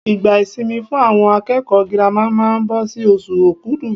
Ìgbà ìsinmi fún àwọn akẹ́kọ̀ọ́ girama máa ń bọ sí oṣù okudu.